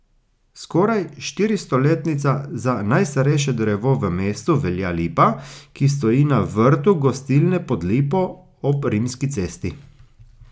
Skoraj štiristoletnica Za najstarejše drevo v mestu velja lipa, ki stoji na vrtu gostilne Pod lipo ob Rimski cesti.